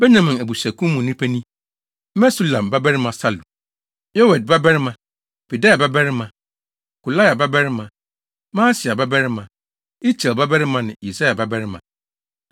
Benyamin abusuakuw no mu nnipa ni: Mesulam babarima Salu, Yoed babarima, Pedaia babarima, Kolaia babarima, Maaseia babarima, Itiel babarima ne Yesaia babarima;